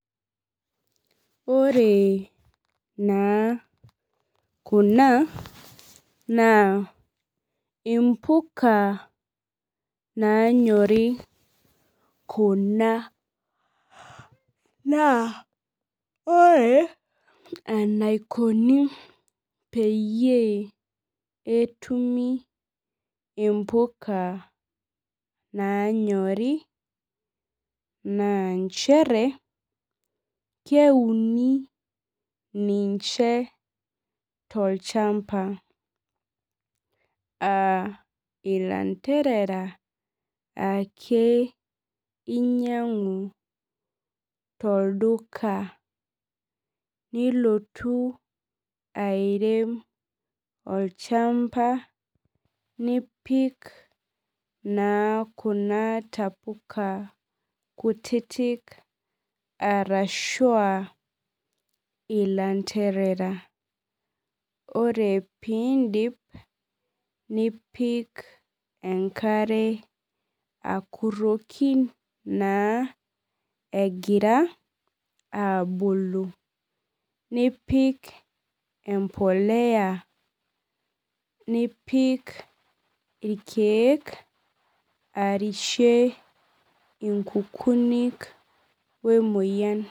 Ore naa kuna naa impuka naanyori kuna naa ore enaikoni peyie etumi impuka nanyori naa nchere keuni ninche tolchamba uh ilanterera ake inyiang'u tolduka nilotu airem olchamba nipik naa kuna tapuka kutitik arashua ilanterera ore pindip nipik enkare akurroki naa egira abulu nipik empoleya nipik irkeek arshe inkukunik wemoyian.